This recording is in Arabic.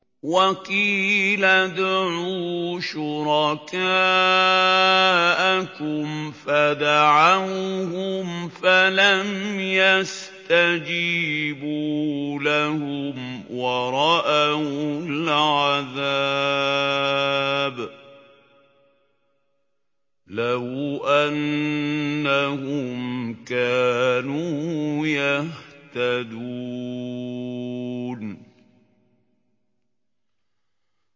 وَقِيلَ ادْعُوا شُرَكَاءَكُمْ فَدَعَوْهُمْ فَلَمْ يَسْتَجِيبُوا لَهُمْ وَرَأَوُا الْعَذَابَ ۚ لَوْ أَنَّهُمْ كَانُوا يَهْتَدُونَ